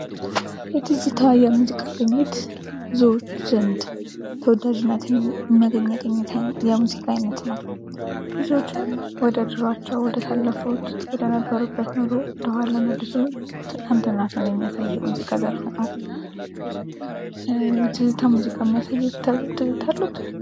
የትዝታ የሙዚቃ ቅኝት ብዙዎች ዘንድ ተወዳጅነትን ያገኘ የሙዚቃ አይነት ነው። ብዙዎችን ወደ ድሩአቸው ወደ አሳለፉት ወደ ነበሩበት ኑሮ መልሶ ትላንትናቸውን የሚያሳይ የሙዚቃ ዘርፍ ነው። ትዝታ ሙዚቃ የሚያሳየው ትዝታ አልወት?